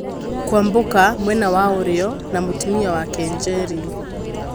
Kwambuka ( mwena wa ũrĩo) na mũtumia wake Njeri .